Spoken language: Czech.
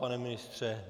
Pane ministře?